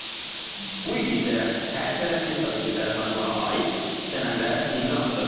Bu il isə hərtərəfli strateji tərəfdaşlığa aid sənədə imza atdıq.